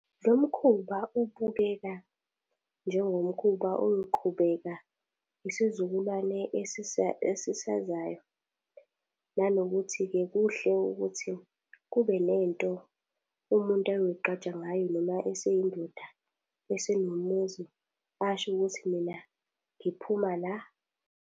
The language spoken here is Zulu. Lo mkhuba ubukeka njengomkhuba oyoqhubeka isizukulwane esisazayo. Nanokuthi-ke kuhle ukuthi kube nento umuntu ayoy'qgaja ngayo noma eseyindoda, esenomuzi, asho ukuthi mina ngiphuma la.